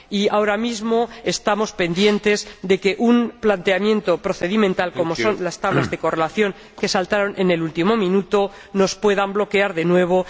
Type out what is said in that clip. Ahora mismo estamos pendientes de que un planteamiento procedimental, como son las tablas de correlación, que saltaron en el último minuto, nos pueda bloquear de nuevo.